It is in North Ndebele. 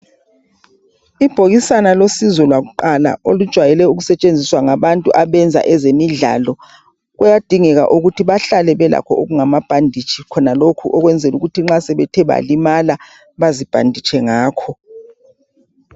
ibhokisana losizo lwakuqala lujwayele ukusetshenziswa ngabantu abenza ezemidlalo kuyadingeka ukuthi behlale belakho okungama bhandetshi khonalokhu ukwenzela ukuthi nxa sebethe malimala bazibhanditshe ngakho